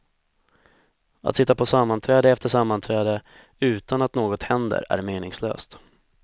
Att sitta på sammanträde efter sammanträde, utan att något händer är meningslöst.